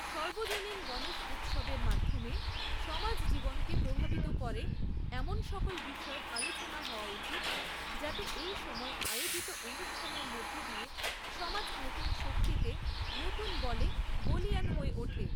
সর্বজনীন গণেশ উৎসবের মাধ্যমে সমাজজীবনকে প্রভাবিত করে এমন সকল বিষয়ের আলোচনা হওয়া উচিত যাতে এই সময়ে আয়োজিত অনুষ্ঠানের মধ্যে দিয়ে সমাজ নতুন শক্তিতে, নতুন বলে বলীয়ান হয়ে ওঠে।